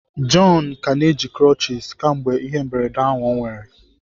John ka na-eji crutches kemgbe ihe mberede ahụ o nwere.